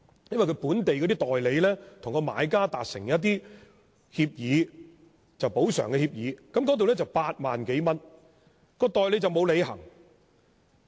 因為本地的代理與買家達成補償協議，當中涉及8萬多元，但代理沒有履行責任。